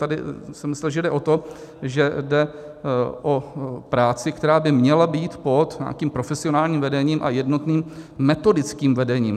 Tady jsem myslel, že jde o to, že jde o práci, která by měla být pod nějakým profesionálním vedením a jednotným metodickým vedením.